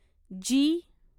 जी